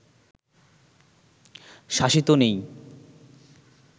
শাসিত নেই